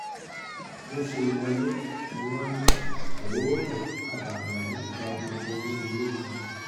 bó ṣe wọlé ni wọ́n ní oòrùn abàmì ọ̀hún gba gbogbo inú ilé kan